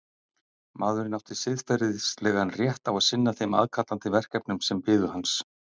Maðurinn átti siðferðislegan rétt á að sinna þeim aðkallandi verkefnum sem biðu hans.